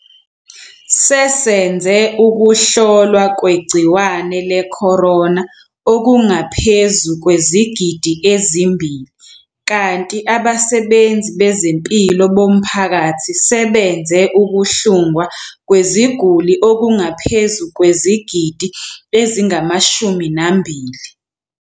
Sesenze ukuhlolwa kwegciwane le-corona okungaphezu kwezigidi ezimbili kanti abasebenzi bezempilo bomphakathi sebenze ukuhlungwa kweziguli okungaphezu kwezigidi ezingama-20.